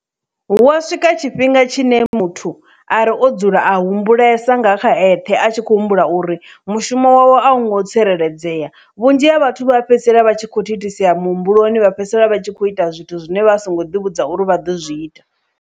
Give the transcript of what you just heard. Hu wa swika tshifhinga tshine muthu a ri o dzula a humbulesa nga kha ethe a tshi khou humbula uri mushumo wavho a u ngo tsireledzea vhunzhi ha vhathu vha fhedzisela vha tshi kho thithisea muhumbuloni vha fhedzisela vha tshi kho ita zwithu zwine vha a songo ḓi vhudza uri vha ḓo zwi ita.